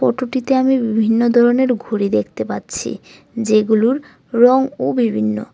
আমি বিভিন্ন ধরনের ঘড়ি দেখতে পাচ্ছি যেগুলোর রঙও বিভিন্ন।